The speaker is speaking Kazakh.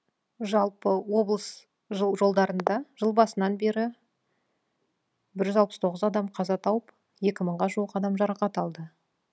жалпы облыс жолдарында жыл басынан бері бір жүз алпыс тоғыз адам қаза тауып екі мыңға жуық адам жарақат алды